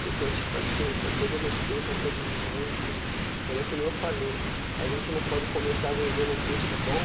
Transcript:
Porque é tipo assim, com todo respeito a todos os músicos, mas é que nem eu falei, a gente não pode começar vendendo um peixe bom